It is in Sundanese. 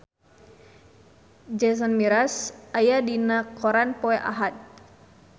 Jason Mraz aya dina koran poe Ahad